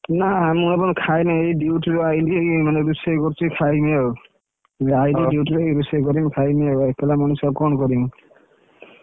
ନାଁ ମୁଁ ଖାଇନି ଏଇ duty ରୁ ଆଇଲି ରୋଷେଇ କରୁଛି ଖାଇବି ଆଉ, ନାଇଁ ରେ duty ଯାଇ ରୋଷେଇ କରିବି ଖାଇବି ଏକେଲା ମଣିଷ ଆଉ କଣ କରିବି?